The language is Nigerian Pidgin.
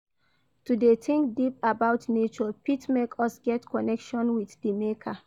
To de think deep about nature fit make us get connection with di maker